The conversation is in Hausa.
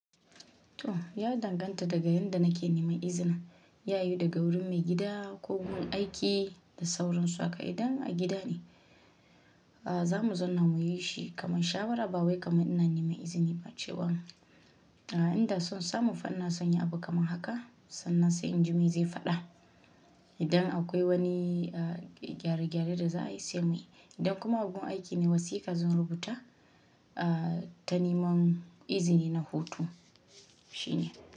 To! Ya danganta daga inda nake neman izini, yayi daga wurin maigida ko wajen aiki da sauransu haka. Idan a gida ne za mu zanna mu yi shi kamar shawarar ba wai kamar ina neman izini ba cewan inda son samu fa ina son yin abu kamar haka sannan sai in jima zai faɗa. Idan akwai wani gyare-gyare da za a yi sai muyi. Idan kuma a wajen aiki ne, wasiƙa zan rubuta ta neman izini na hutu shine.